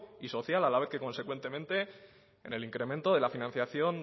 y social a la vez que consecuentemente en el incremento de la financiación